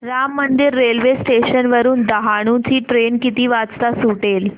Ram Mandir railway station वरुन डहाणू ची train किती वाजता सुटेल